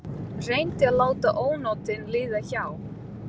Reyndi að láta ónotin líða hjá.